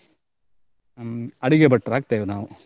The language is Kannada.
ಹ್ಮ್‌ ಅಡಿಗೆ ಭಟ್ರ ಆಗ್ತೇವೆ ನಾವು.